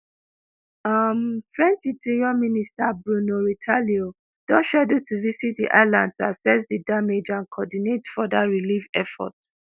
um french interior minister bruno retailleau don scheduled to visit di island to assess di damage and co-ordinate further relief efforts.